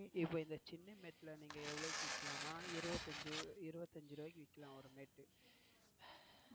இப்போ இந்த சின்ன mat ல எவ்ளோக்கு விக்கலாம்னா இருபத்தியஞ்சு, இருபத்தியஞ்சு ரூபாக்கு விக்கலாம் ஒரு mat